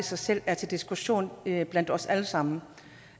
sig selv er til diskussion blandt os alle sammen